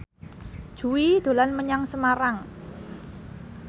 Jui dolan menyang Semarang